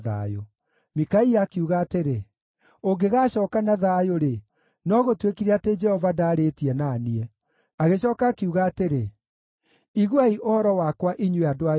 Mikaia akiuga atĩrĩ, “Ũngĩgaacooka na thayũ-rĩ, no gũtuĩkire atĩ Jehova ndaarĩtie na niĩ.” Agĩcooka akiuga atĩrĩ, “Iguai ũhoro wakwa inyuĩ andũ aya inyuothe!”